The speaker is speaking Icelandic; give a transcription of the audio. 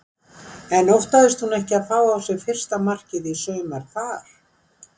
En óttaðist hún ekki að fá á sig fyrsta markið í sumar þar?